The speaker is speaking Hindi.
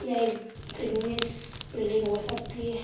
ये एक बिज़नेस बिल्डिंग हो सकती है |